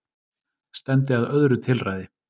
Stefndi að öðru tilræði